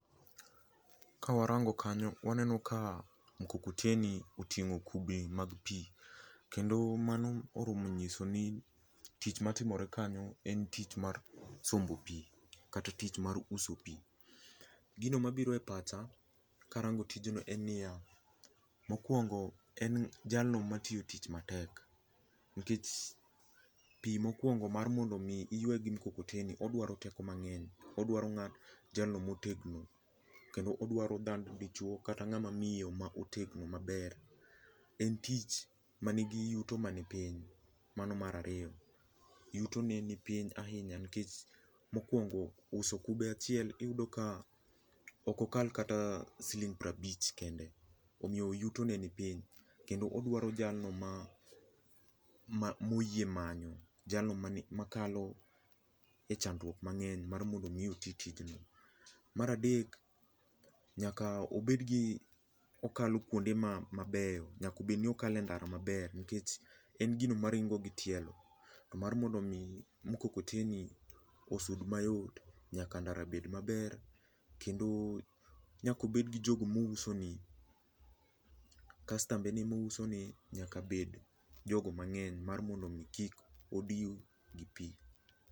Ka warango kanyo waneno ka mkokoteni oting'o kubni mag pii. kendo mano oromo nyiso ni tich matimore kanyo en tich mar sombo pii kata tich mar uso pii. Gino mabiro e pacha karango tijno en niya, mokuongo en jalno matiyo tich matek nikech pii mokuongo mar mondo iywa gi mkokoteni odwaro teko mangeny odwaro jalno motegno kendo odwaro dhano dichuo kata ngama miyo motegno maber. En tich manigi yuto mani piny, mano mar ariyo, yuto ne nipiny ahinya nikech mokuongo uso kube achiel iyudo ka ok okal kata siling prabich kende omiyo yutone nipiny kendo odwaro jalno ma oyie manyo, jalno makalo e chandruok mangeny mar mondo otii tijni. Mar adek nyaka obedni okalo kuonde mabeyo, nyaka bedni okale ndara maber nikech en gino maringo gi tielo to mar mondo mkokoteni osud mayot nyaka ndara bed maber kendo nyaka obed gi jogo mouso ne kastembe ne mousone nyaka bed jogo mangeny mar mondo kik odiw gi pii